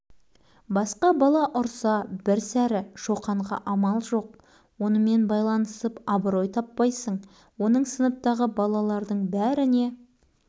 міне енді қуаныш та ауырсынғанын білдірмей кәдімгі бір өзі кінәлі адамдай-ақ үн жоқ басын төмен салған беті орнына